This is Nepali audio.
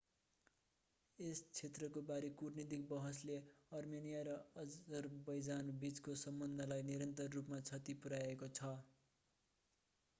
यस क्षेत्रका बारे कूटनीतिक बहसले आर्मेनिया र अजरबैजान बीचको सम्बन्धलाई निरन्तर रूपमा क्षति पुर्याएको छ